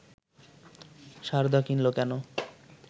সারদা কিনল কেন